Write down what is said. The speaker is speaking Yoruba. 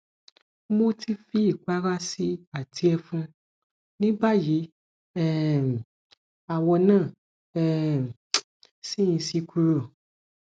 mo ti fi ipara si i ati efun nibayi um awo na um si n si kuro